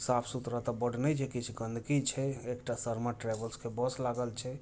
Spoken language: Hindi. साफ सुथरा बड़ नै दिखै छै गंदगी छै एक त शर्मा ट्रेवल्स के बस लागल छै